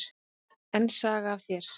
Enn saga af þér.